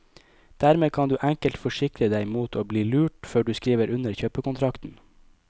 Dermed kan du enkelt forsikre deg mot å bli lurt før du skriver under kjøpekontrakten.